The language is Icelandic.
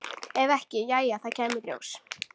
Ef ekki, jæja, það kæmi í ljós.